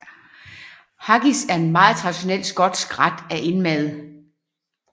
Haggis er en meget traditionel skotsk ret af indmad